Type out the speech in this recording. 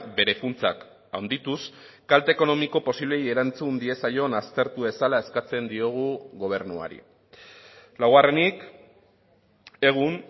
bere funtsak handituz kalte ekonomiko posibleei erantzun diezaion aztertu dezala eskatzen diogu gobernuari laugarrenik egun